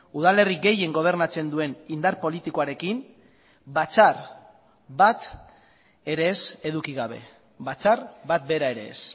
udalerri gehien gobernatzen duen indar politikoarekin batzar bat ere ez eduki gabe batzar bat bera ere ez